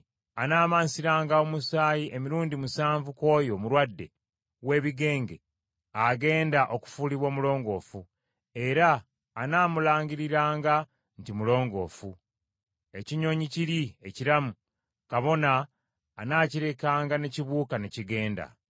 Anaamansiranga omusaayi emirundi musanvu ku oyo omulwadde w’ebigenge agenda okufuulibwa omulongoofu; era anaamulangiriranga nti mulongoofu. Ekinyonyi kiri ekiramu, kabona anaakirekanga n’ekibuuka n’ekigenda.